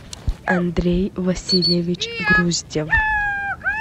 андрей васильевич груздев